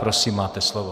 Prosím, máte slovo.